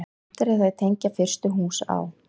Stefnt er að því að tengja fyrstu hús á